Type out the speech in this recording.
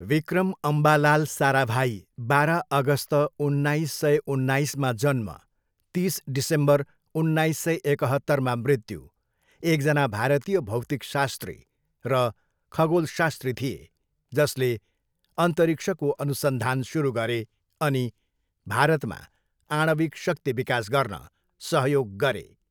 विक्रम अम्बालाल साराभाई, बाह्र अगस्त उन्नाइस सय उन्नाइसमा जन्म, तिस डिसेम्बर उन्नाइस सय एकहत्तरमा मृत्यु, एकजना भारतीय भौतिकशास्त्री र खगोलशास्त्री थिए जसले अन्तरिक्षको अनुसन्धान सुरु गरे अनि भारतमा आणविक शक्ति विकास गर्न सहयोग गरे।